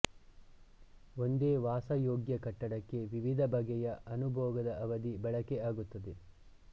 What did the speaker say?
ಒಂದೇ ವಾಸಯೋಗ್ಯ ಕಟ್ಟಡಕ್ಕೆ ವಿವಿಧ ಬಗೆಯ ಅನುಭೋಗದ ಅವಧಿ ಬಳಕೆ ಆಗುತ್ತದೆ